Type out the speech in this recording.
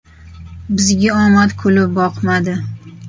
Bizga omad kulib boqmadi.